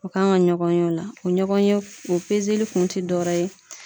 U kan ka ɲɔgɔn ye o la, o ɲɔgɔnye o kun ti dɔwɛrɛ ye